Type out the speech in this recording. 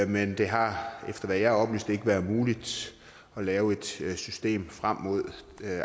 men det har efter hvad jeg er oplyst ikke været muligt at lave et system frem mod